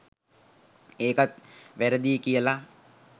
ඒකත් වැරදියි කියලා